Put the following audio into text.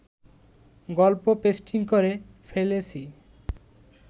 গল্প পেস্টিং করে ফেলেছি